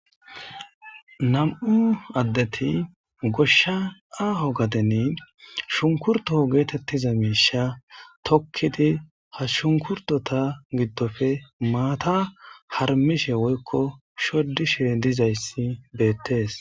nam7u addeti goshsha aho gadeni shunkurtoo geetettiza miisha tokkidi ha shunkurtota giddofe maata harmishe woykko shoddishe dizayssi beettees